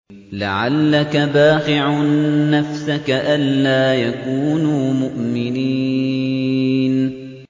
لَعَلَّكَ بَاخِعٌ نَّفْسَكَ أَلَّا يَكُونُوا مُؤْمِنِينَ